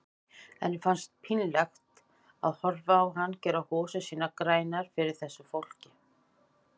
Henni fannst pínlegt að horfa á hann gera hosur sínar grænar fyrir þessu fólki.